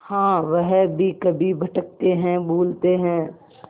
हाँ वह भी कभी भटकते हैं भूलते हैं